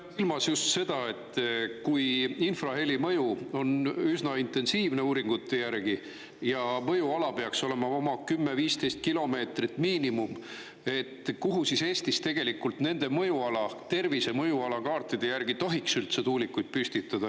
Pean silmas just seda, et kui infraheli mõju on üsna intensiivne uuringute järgi ja mõjuala peaks olema oma 10–15 kilomeetrit miinimum, kuhu siis Eestis tegelikult nende mõjuala, tervise mõjuala kaartide järgi tohiks üldse tuulikuid püstitada.